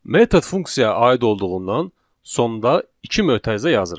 Metod funksiya aid olduğundan sonda iki mötərizə yazırıq.